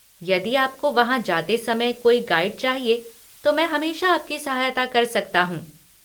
यदि आपको वहाँ जाते समय कोई गाइड चाहिए, तो मैं हमेशा आपकी सहायता कर सकता हूँ।